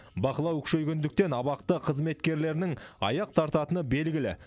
бақылау күшейгендіктен абақты қызметкерлерінің аяқ тартатыны белгілі